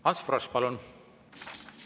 Ants Frosch, palun!